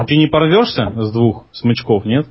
ты не порвёшься с двух смычков нет